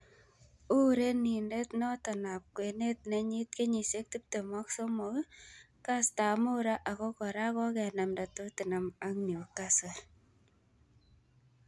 Urerrnindet noto ab kwenet nenyit kenyisiek 23, kastab mut raa, ako kora kokenamda Tottenham ak Newcastle.